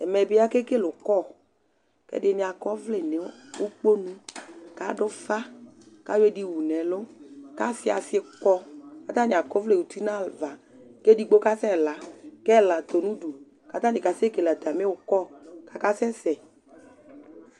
Ɛmɛ bi ake kele ukɔ, ɛdini akɔ ɔvlɛ nu ukponu, ku adu ufa, ka yɔ ɛdi wu nu ɛlu, ku asi asi kɔ, ku ata ni akɔ ɔvlɛ uti nu ava, ku edigbo kasɛ la, ku ɛla tɔ nu udu ku ata ni ka sɛ kele ata mi ukɔ ku aka sɛ sɛ